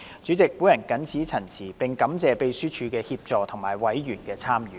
主席，我謹此陳辭，並感謝秘書處的協助和委員的參與。